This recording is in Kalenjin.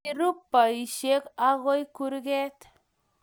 kirub boisiek agoi kurket